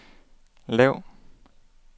lav